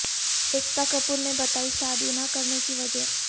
ایکتا کپور نے بتائی شادی نہ کرنے کی وجہ